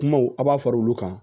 Kumaw a b'a fara olu kan